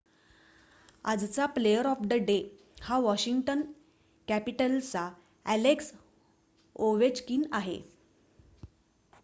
आजचा 'player of the day' हा Washington कॅपिटल्सचा अ‍ॅलेक्स ओवेचकिन आहे